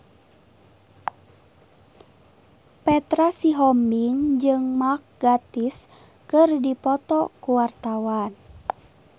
Petra Sihombing jeung Mark Gatiss keur dipoto ku wartawan